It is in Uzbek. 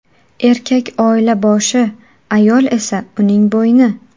Erkak oila boshi, ayol esa uning bo‘yni.